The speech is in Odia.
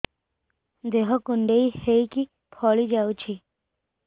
ଦେହ କୁଣ୍ଡେଇ ହେଇକି ଫଳି ଯାଉଛି